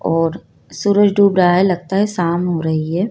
और सूरज डूब रहा है लगता है शाम हो रही है।